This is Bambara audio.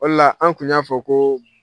O de la an kun y'a fɔ ko